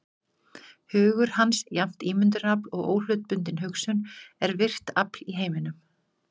Hugur hans, jafnt ímyndunarafl og óhlutbundin hugsun, er virkt afl í heiminum.